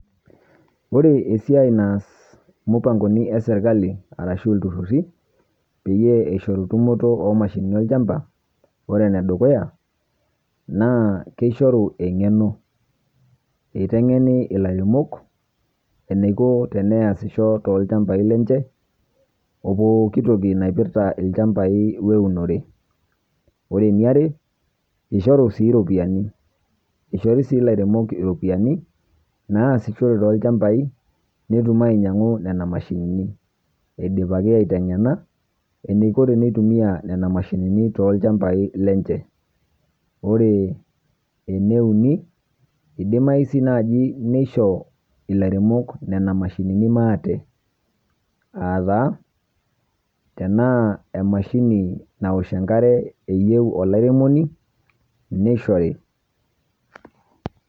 Ore esiai naas mupangoni esirkali arashu ilturruri peyie eishoru tumoto oomashinini olchamba ore enedukuya naa keishoru eng'eno. Eiteng'eni ilairemok eneiko teneasisho tolchambai lenche opooki toki naipirta ilchambai oenore. Ore eniare, eishoru sii ropiaani. Eishori sii ilairemok iropiani naasishore tolchambai netum ainyang'u nena mashinini eidipaki aiteng'ena eneiko teneitumia nena mashinini tolchambai lenche. Ore eneuni, eidimayu sii naji neisho ilairemok nena mashinini maate aataa tenaa emashini naosh enkare eyeu olairemoni neishori.